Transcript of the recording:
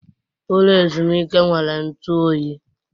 Ụlọ ezumike nwere ntụ oyi.